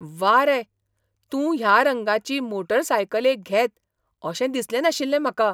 व्वा रे! तूं ह्या रंगाची मोटारसायकले घेत अशें दिसलें नाशिल्लें म्हाका.